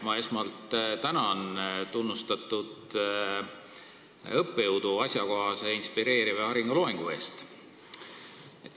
Ma esmalt tänan tunnustatud õppejõudu asjakohase, inspireeriva ja hariva loengu eest!